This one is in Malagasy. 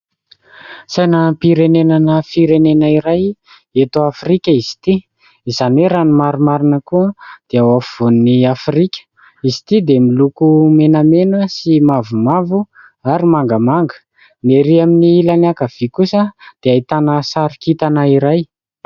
Sainam-pirenenana firenena iray eto Afrika izy ity izany hoe raha ny marimarina koa dia ao afovoan'i Afrika. Izy ity dia miloko menamena sy mavomavo ary mangamanga, ny erỳ amin'ny ilany ankavia kosa dia ahitana sary kintana iray.